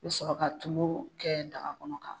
I bɛ sɔrɔ ka tulu kɛ daga kɔnɔ ka.